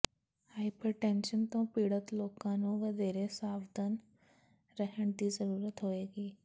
hypertension ਤੋਂ ਪੀੜਤ ਲੋਕਾਂ ਨੂੰ ਵਧੇਰੇ ਸਾਵਧਾਨ ਰਹਿਣ ਦੀ ਜ਼ਰੂਰਤ ਹੋਏਗੀ